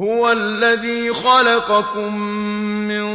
هُوَ الَّذِي خَلَقَكُم مِّن